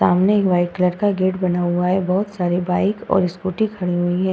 सामने एक white colour का गेट लगा हुआ है। बहोत सारी बाइक और स्कूटी खड़ी हुई हैं।